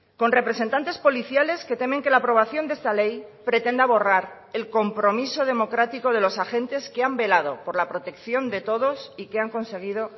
con representantes policiales que temen que la aprobación de esta ley pretenda borrar el compromiso democrático de los agentes que han velado por la protección de todos y que han conseguido